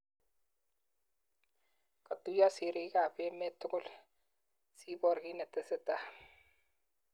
Katuyo sirik ab emet tugul sibor ki netesetai.